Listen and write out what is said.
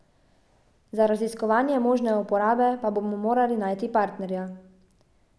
Za raziskovanje možne uporabe pa bomo morali najti partnerja.